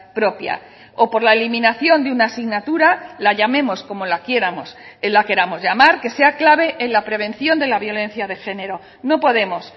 propia o por la eliminación de una asignatura la llamemos como la queramos llamar que sea clave en la prevención de la violencia de género no podemos